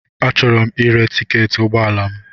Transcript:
Achọrọ m ire tiketi ụgbọ ala m.